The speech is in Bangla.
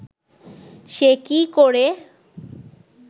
সে কি করে